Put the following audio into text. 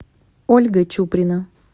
ольга чуприна